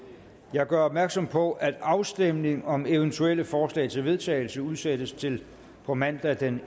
jeg gør opmærksom på at afstemning om eventuelle forslag til vedtagelse udsættes til på mandag den